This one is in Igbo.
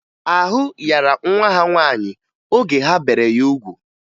Ahụ yara nwa ha nwaanyị oge ha bere ya ugwu